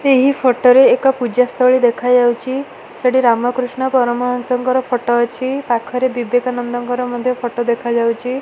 ଏହି ଫଟ ରେ ଏକ ପୂଜାସ୍ତଳୀ ଦେଖାଯାଉଚି ସେଠି ରାମକୃଷ୍ଣ ପରମହଂସଙ୍କର ଫଟ ଅଛି ପାଖରେ ବିବେକାନନ୍ଦଙ୍କର ମଧ୍ୟ ଫଟ ଦେଖାଯାଉଚି ।